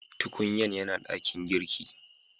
Tukunyan yana dakin girki.